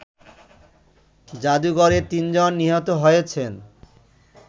জাদুঘরে তিনজন নিহত হয়েছেন